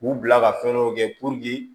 K'u bila ka fɛn dɔ kɛ